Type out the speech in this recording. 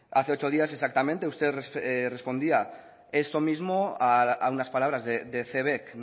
hace ocho días exactamente usted respondía esto mismo a unas palabras de cebek